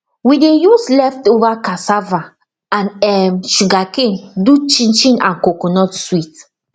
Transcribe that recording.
we dey use leftover cassava and um sugarcane do chinchin and coconut sweet